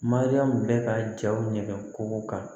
Mariyamu bɛ ka jaw ɲɛgɛn k'o kan